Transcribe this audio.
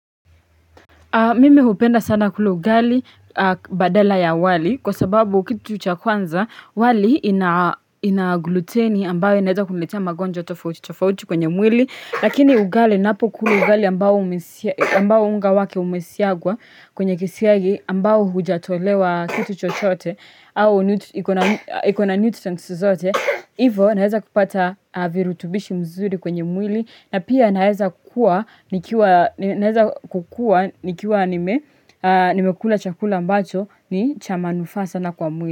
Mimi hupenda sana kula ugali badala ya wali kwa sababu kitu cha kwanza wali inagluteni ambayo inaweza kuniletea magonjwa tofauti tofauti kwenye mwili lakini ugali ninapokula ugali ambayo unga wake umesiagwa kwenye kisiagi ambayo hujatolewa kitu chochote au ikona nutrients zote. Hivo naweza kupata virutubishi mzuri kwenye mwili na pia naeza kukua nikiwa nimekula chakula ambacho ni chama manufaa sana kwa mwili.